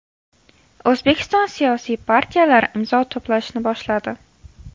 O‘zbekiston siyosiy partiyalari imzo to‘plashni boshladi.